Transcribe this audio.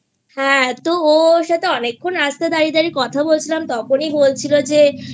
হ্যাঁ তো ওর সাথে অনেকক্ষন রাস্তায় দাঁড়িয়ে দাঁড়িয়ে কথা বলছিলাম তখনই বলছিল যে